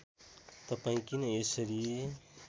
तपाईँ किन यसरी